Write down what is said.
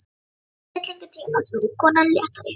Í fyllingu tímans verður konan léttari.